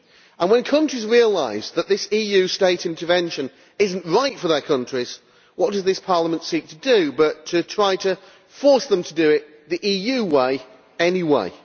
And when countries realise that this EU state intervention is not right for their countries, what does this Parliament seek to do but try to force them to do it the EU way anyway!